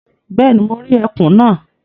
Bẹ́ẹ̀ni, mo rí ẹkùn náà.